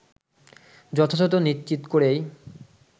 যথাযথ নিশ্চিত করেই